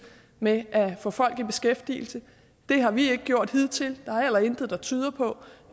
med at få folk i beskæftigelse det har vi ikke gjort hidtil og heller intet der tyder på